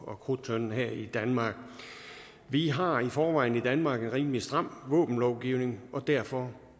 og krudttønden her i danmark vi har i forvejen i danmark en rimelig stram våbenlovgivning og derfor